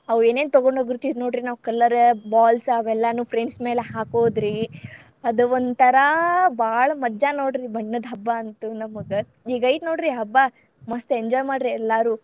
ಅವ್ ಏನೇನ್ ತಗೊಂಡ್ ಹೋಗಿರ್ತೇವಿ ನೋಡ್ರಿ ನಾವ್ colour balls ಅವೆಲ್ಲಾನು friends ಮ್ಯಾಲ್ ಹಾಕೋದ್ರಿ ಆದ್ ಒಂಥರಾ ಬಾಳ್ ಮಜಾ ನೋಡ್ರಿ ಬಣ್ಣದ್ ಹಬ್ಬಾ ಅಂತು ನಮಗ, ಈಗ ಐತಿ ನೋಡ್ರಿ ಹಬ್ಬಾ ಮಸ್ತ್ enjoy ಮಾಡ್ರಿ ಎಲ್ಲಾರು.